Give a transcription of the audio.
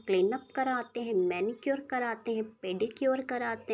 Cleanup कराते हैं manicure कराते हैं पेडीक्योर कराते हैं।